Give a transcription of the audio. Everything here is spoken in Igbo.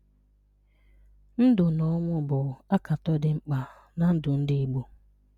Ndụ̀ na ọnwụ̀ bụ̀ bụ̀ àkàtọ̀ dị̀ mkpà n’ndụ̀ ndị́ Ìgbò